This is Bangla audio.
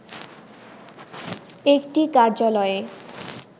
একটি কার্যালয়ে